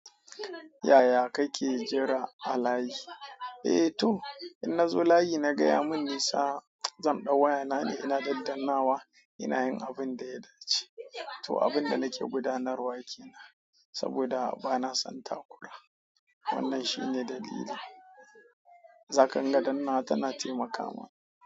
Yaya kake jira a layi? Eh to, idan na zo layi naga ya mun nisa zan ɗau wayana ne ina daddanawa ina yin abin da ya dace. To abin da nake gudanarwa ke nan saboda bana son takura. Wannan shi ne dalili. Zaka dinga dannawa tana taimaka ma.